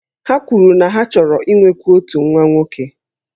Ha kwuru na ha chọrọ inwekwu otu nwa nwoke